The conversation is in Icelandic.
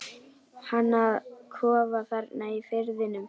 Hann á kofa þarna í firðinum.